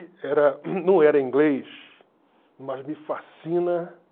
Era não era inglês, mas me fascina